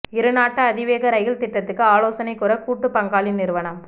இரு நாட்டு அதிவேக ரயில் திட்டத்துக்கு ஆலோசனை கூற கூட்டு பங்காளி நிறுவனம்